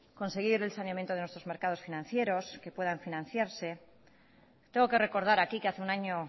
conseguir el saneamiento de nuestros mercados financieros que puedan financiarse tengo que recordar aquí que hace un año